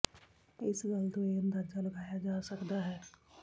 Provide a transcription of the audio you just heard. ਇਸ ਗੱਲ ਤੋਂ ਇਹ ਅਂਦਾਜਾ ਲਗਾਇਆ ਜਾ ਸਕਦਾ ਹੈ